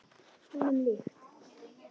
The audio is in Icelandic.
Honum líkt.